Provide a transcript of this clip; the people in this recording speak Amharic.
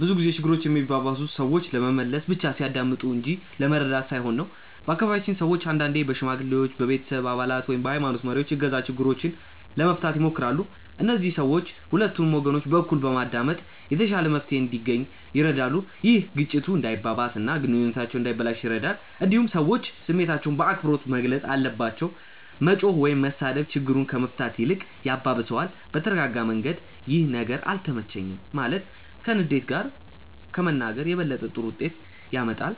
ብዙ ጊዜ ችግሮች የሚባባሱት ሰዎች ለመመለስ ብቻ ሲያዳምጡ እንጂ ለመረዳት ሳይሆን ነው። በአካባቢያችን ሰዎች አንዳንዴ በሽማግሌዎች፣ በቤተሰብ አባላት ወይም በሀይማኖት መሪዎች እገዛ ችግሮችን ለመፍታት ይሞክራሉ። እነዚህ ሰዎች ሁለቱንም ወገኖች በእኩል በማዳመጥ የተሻለ መፍትሄ እንዲገኝ ይረዳሉ። ይህ ግጭቱ እንዳይባባስ እና ግንኙነቱ እንዳይበላሽ ይረዳል። እንዲሁም ሰዎች ስሜታቸውን በአክብሮት መግለጽ አለባቸው። መጮህ ወይም መሳደብ ችግሩን ከመፍታት ይልቅ ያባብሰዋል። በተረጋጋ መንገድ “ይህ ነገር አልተመቸኝም” ማለት ከንዴት ጋር ከመናገር የበለጠ ጥሩ ውጤት ያመጣል።